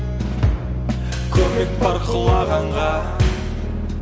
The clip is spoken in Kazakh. көмек бар құлағанға